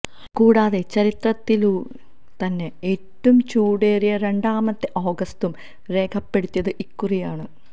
കൂടാതെ ചരിത്രത്തിലെ തന്നെ ഏറ്റവും ചൂടേറിയ രണ്ടാമത്തെ ഓഗസ്റ്റും രേഖപ്പെടുത്തിയത് ഇക്കുറിയാണ്